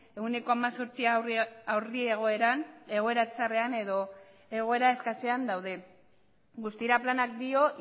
ehuneko hemezortzia aurri egoeran egoera txarrean edo egoera eskasean daude guztira planak dio